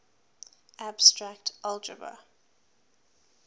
abstract algebra